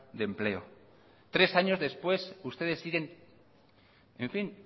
de empleo tres años después ustedes siguen en fin